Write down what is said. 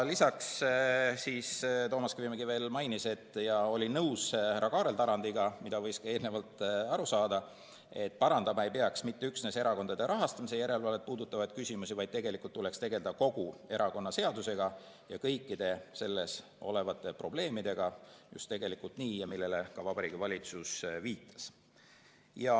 Lisaks, Toomas Kivimägi veel mainis ja oli nõus härra Kaarel Tarandiga, nagu võis ka eelnevalt aru saada, et parandama ei peaks mitte üksnes erakondade rahastamise järelevalvet puudutavaid küsimusi, vaid tegelikult tuleks tegelda kogu erakonnaseadusega ja kõikide selles olevate probleemidega, millele ka Vabariigi Valitsus viitas.